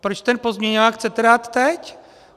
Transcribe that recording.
Proč ten pozměňovák chcete dát teď?